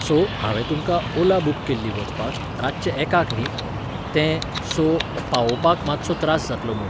So, हावें तुमकां Ola book केल्ली वचपाक, रातचे एकाक न्ही? तें, सो, पावोवपाक मातसो त्रास जातलो म्हूण.